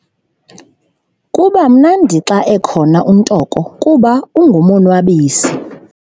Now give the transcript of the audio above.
Kuba mnandi xa ekhona uNtoko kuba ungumonwabisi.